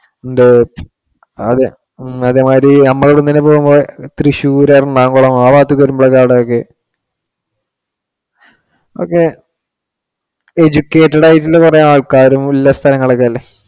എന്ത് അത് അതേമാതിരി നമ്മെ അവിടുന്ന് ഇങ്ങനെ പോകുമ്പോ തൃശൂർ എറണാകുളം ആ ഭാഗത്തേക്ക് ഒക്കെ വരുമ്പോളായിരിക്കും അവിടെ ഒക്കെ ഓക്കേ educated ആയിട്ടുള്ള കുറെ ആൾക്കാരും ഉള്ള സ്ഥലങ്ങൾ ഒക്കെ അല്ലെ.